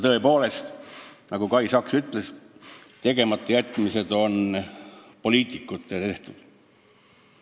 Tõepoolest, nagu Kai Saks ütles, need on poliitikute tegematajätmised.